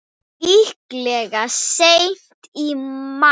Líklega seint í maí.